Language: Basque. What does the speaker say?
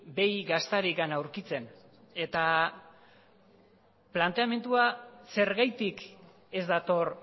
behi gaztarik aurkitzen eta planteamendua zergatik ez dator